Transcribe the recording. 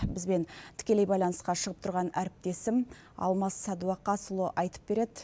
бізбен тікелей байланысқа шығып тұрған әріптесім алмас сәдуақасұлы айтып береді